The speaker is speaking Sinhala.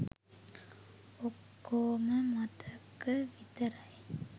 ඔක්කෝම මතක විතරයි.